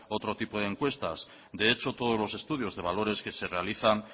otro tipo de encuestas de hecho todos los estudios de valores que se realizan